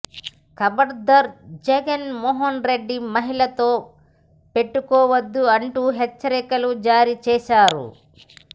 ఖబర్దార్ జగన్ మోహన్ రెడ్డి మహిళల తో పెట్టుకోవద్దు అంటూ హెచ్చరికలు జారీ చేశారు